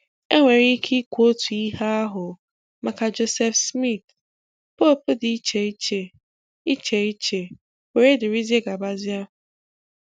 Enwere ike ikwu otu ihe ahụ maka Joseph Smith, Pope dị iche iche, iche iche, wdg.